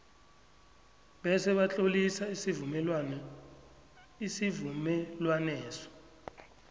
bese batlolisa isivumelwaneso